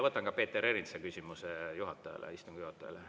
Võtan ka Peeter Ernitsa küsimuse juhatajale, istungi juhatajale.